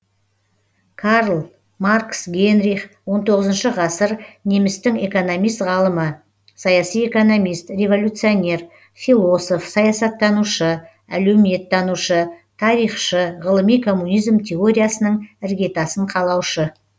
карл маркс генрих он тоғызыншы ғасыр немістің экономист ғалымы саяси экономист революционер философ саясаттанушы әлеуметтанушы тарихшы ғылыми коммунизм теориясының іргетасын қалаушы